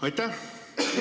Aitäh!